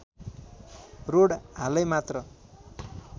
road हालै मात्र